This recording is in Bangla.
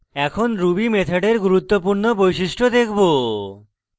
এখন ruby মেথডের গুরুত্বপূর্ণ বৈশিষ্ট্য দেখব